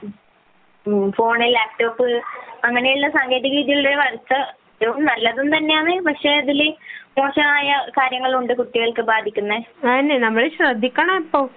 phone, laptop അങ്ങനെയുള്ള സാങ്കേതിക വിദ്യകളിൽ എല്ലാം നല്ലതു തന്നെയാണ് പക്ഷെ അതിൽ മോശമായ കാര്യങ്ങളുണ്ട് കുട്ടികൾക്ക് ബാധിക്കുന്നത് അത് നമ്മൾ ശ്രദ്ധിക്കണം ഇപ്പോഴും